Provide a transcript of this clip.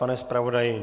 Pane zpravodaji?